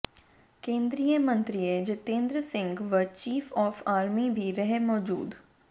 केंद्रीय मंत्रीय जितेंद्र सिंह व चीफ ऑफ आर्मी भी रहे मौजूद